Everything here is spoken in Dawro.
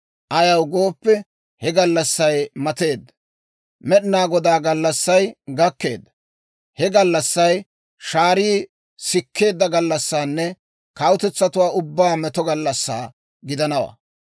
Ayaw gooppe, he gallassay mateedda! Med'inaa Godaa gallassay gakkeedda! He gallassay shaarii sikkeedda gallassanne kawutetsatuwaa ubbaw meto gallassaa gidanawaa.